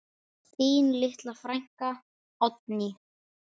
Þín litla frænka, Oddný.